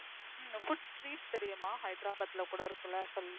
உம் Food street தெரியுமா Hyderabad ல கூட இருக்குல்ல